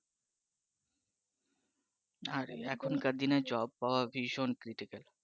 আর এখনকার দিনে জব পাওয়া ভীষন critical